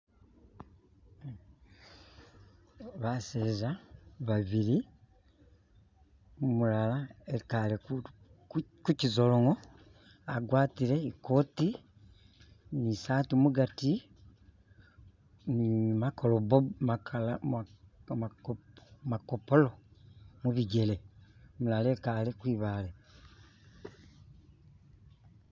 ba'seza ba'biri u'mulala e'kale ku'kyizolongo a'gwatle ikoti ni saati mugati ni nigamakopolo mu'bijele u'mulala i'kale kwi'bale